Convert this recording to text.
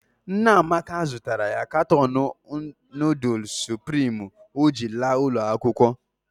Nne Amaka zụtara ya katọọnụ nudul Suprimi o ji laa ụlọakwụkwọ